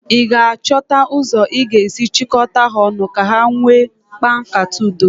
ị ga-achọta ụzọ ị ga-esi chịkọta ha ọnụ ka ha wee kpaa nkata Udo?